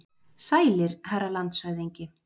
Sælir, herra landshöfðingi.